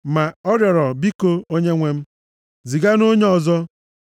Ma ọ rịọrọ, “Biko Onyenwe m, ziganụ onye ọzọ.”